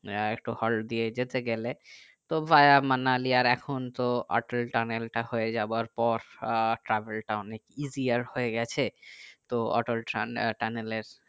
একটা হল্ট দিয়ে যেতে গেলে তো ভায়া মানালি এর এখন তো অটল টানেল তা হয়ে যাবার পর আহ travel টা অনেক easier হয়ে গেছে তো অটল টানেল এর